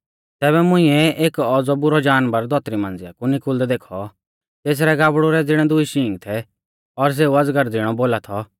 तैबै मुंइऐ एक औज़ौ बुरौ जानवर धौतरी मांझ़िआ कु निकुल़दै देखौ तेसरै गाबड़ु रै ज़िणै दुई शींग थै और सेऊ अजगर ज़िणौ बोला थौ